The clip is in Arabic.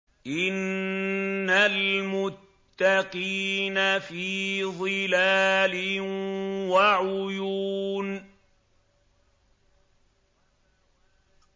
إِنَّ الْمُتَّقِينَ فِي ظِلَالٍ وَعُيُونٍ